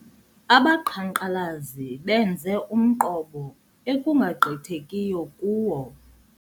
Abaqhankqalazi benze umqobo ekungagqithekiyo kuwo.